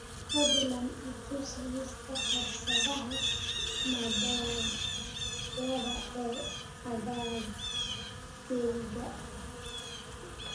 fadlan i tus liiska fursadaha madadaalada ee aaggayga